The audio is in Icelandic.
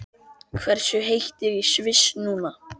Hversu heitt er í Sviss núna?